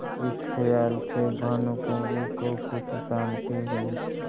इस खयाल से भानुकुँवरि को कुछ शान्ति हुई